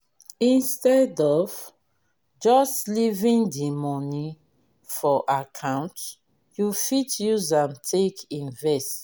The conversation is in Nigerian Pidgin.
instead of just leaving di money for account you fit use am take invest